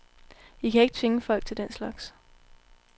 I kan ikke tvinge folk til den slags.